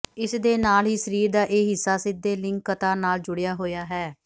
ਇਸ ਦੇ ਨਾਲ ਹੀ ਸਰੀਰ ਦਾ ਇਹ ਹਿੱਸਾ ਸਿੱਧੇ ਲਿੰਗਕਤਾ ਨਾਲ ਜੁੜਿਆ ਹੋਇਆ ਹੈ